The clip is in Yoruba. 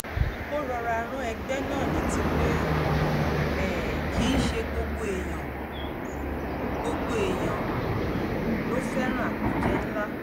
ó rọra rán ẹgbẹ́ náà létí pé um kì í ṣe gbogbo èèyàn gbogbo èèyàn um ló fẹ́ràn àpéjẹ ńlá